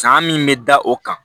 San min bɛ da o kan